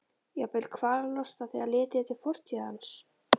Jafnvel kvalalosta þegar litið er til fortíðar hans.